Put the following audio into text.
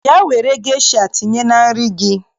Bịa were gesha tinye na nri gị!